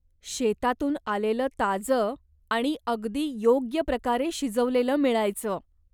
शेतातून आलेलं ताज आणि अगदी योग्य प्रकारे शिजवलेलं मिळायचं.